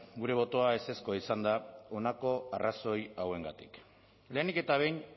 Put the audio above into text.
gure botoa ezezkoa izan da honako arrazoi hauengatik lehenik eta behin